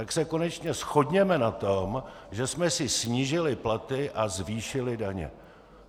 Tak se konečně shodněme na tom, že jsme si snížili platy a zvýšili daně.